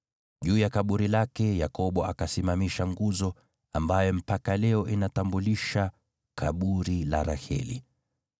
Juu ya kaburi lake, Yakobo akasimamisha nguzo, ambayo mpaka leo inatambulisha kaburi la Raheli.